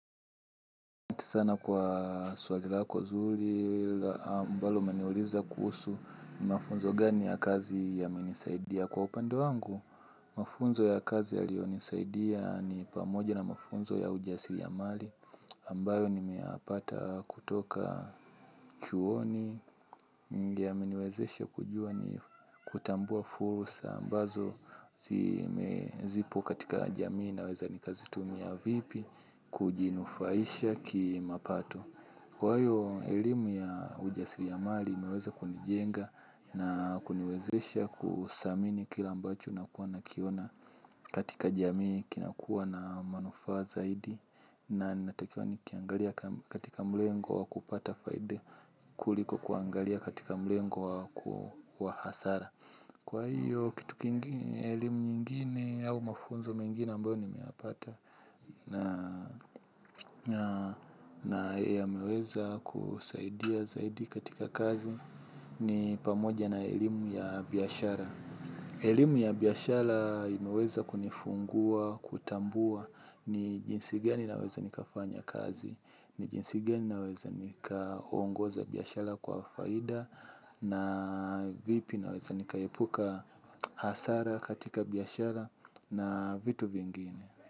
Sana kwa swali lako zuri, mbalo umeniuliza kuhusu mafunzo gani ya kazi ya menisaidia kwa upande wangu. Mafunzo ya kazi y liyo nisaidia ni pamoja na mafunzo ya ujasili ya mali ambayo nimeyapata kutoka chuoni. Ndio yameniwezeshe kujua ni kutambua fursa ambazo zipo katika jamii na weza ni kazi tumia vipi. Kujinufaisha ki mapato. Kwa hiyo elimu ya ujasiliamali uiweza kunijenga na kuniwezesha kuthamini kile ambacho nakua na kiona. Katika jamii kinakuwa na manufa zaidi. Na natakiwa nikiangalie katika mlego wakupata faida kuliko kuangalia katika mlego wa hasara. Kwa hiyo kitu kingine elimu nyingine au mafunzo mengine ambayo ni meyapata. Na yameweza kusaidia zaidi katika kazi ni pamoja na elimu ya biashara. Elimu ya biashara imeweza kunifungua, kutambua ni jinsi gani naweza nikafanya kazi ni jinsi gani naweza nikaongoza biashara kwa faida na vipi na weza nikaepuka hasara katika biashara na vitu vingine.